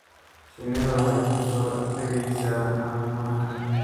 Shinnidu waxay ku soo degaysaa caleemaha.